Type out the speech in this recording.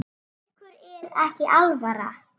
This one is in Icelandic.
Ykkur er ekki alvara!